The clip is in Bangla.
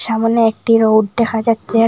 সামোনে একটি রৌড দেখা যাচ্ছে।